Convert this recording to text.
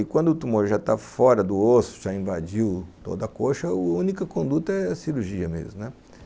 E quando o tumor já tá fora do osso, já invadiu toda a coxa, a única conduta é a cirurgia mesmo, né?